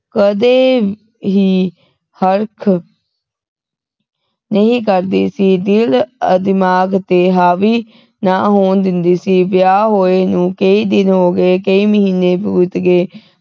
ਕਦੇ ਵੀ ਹਰਖ ਨਹੀਂ ਕਰਦੀ ਸੀ ਦਿਲ ਦਿਮਾਗ ਤੇ ਹਾਵੀ ਨਾ ਹੋਣ ਦਿੰਦੀ ਸੀ ਵਿਆਹ ਹੋਏ ਨੂੰ ਕਈ ਦਿਨ ਹੋ ਗਏ ਕਈ ਮਹੀਨੇ ਬੀਤ ਗਏ